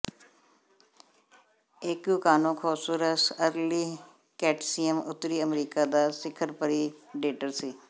Acrocanthosaurus early Cretaceous ਉੱਤਰੀ America ਦਾ ਸਿਖਰ ਪਰਿਡੇਟਰ ਸੀ